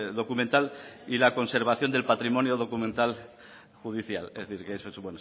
documental y la conservación del patrimonio documental judicial es decir bueno eso